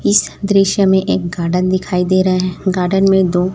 इस दृश्य में एक गार्डन दिखाई दे रहे हैं गार्डन में दो--